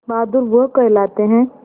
बहादुर वो कहलाते हैं